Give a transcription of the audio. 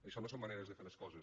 això no són maneres de fer les coses